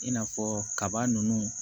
I n'a fɔ kaba ninnu